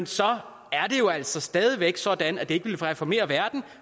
så er det jo altså stadig væk sådan at det ikke ville reformere verden